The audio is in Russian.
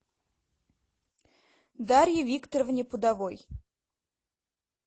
дарье викторовне пудовой